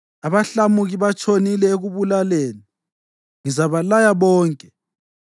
Abahlamuki batshonile ekubulaleni, ngizabalaya bonke.